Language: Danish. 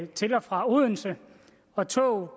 til og fra odense og tog